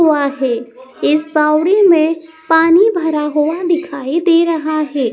हुआ है। इस बावड़ी में पानी भरा हुआ दिखाई दे रहा है।